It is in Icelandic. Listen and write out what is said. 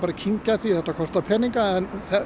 að kyngja því þetta kostar peninga en